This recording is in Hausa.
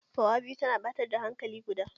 Fawa biyu tana ɓatar da hankalin kuɗa.